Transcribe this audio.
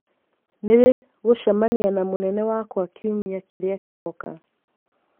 Nĩ rĩ gũcemania na mũnene wakwa kiumia kĩrĩa kĩroka